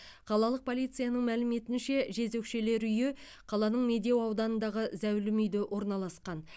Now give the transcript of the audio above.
қалалық полицияның мәліметінше жезөкшелер үйі қаланың медеу ауданындағы зәулім үйде орналасқан